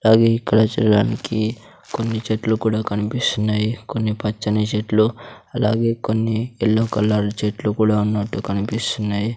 అలాగే ఇక్కడ చూడడానికి కొన్ని చెట్లు కూడా కనిపిస్తున్నాయి కొన్ని పచ్చని చెట్లు అలాగే కొన్ని యెల్లో కలర్ చెట్లు కూడా ఉన్నట్టు కనిపిస్తున్నాయి.